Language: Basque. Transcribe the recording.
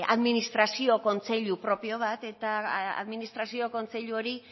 administrazio kontseilu propio bat eta administrazio kontseilu hori